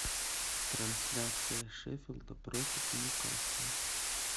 трансляция шеффилда против ньюкасла